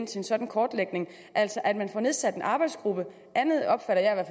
til en sådan kortlægning altså at man får nedsat en arbejdsgruppe andet opfatter jeg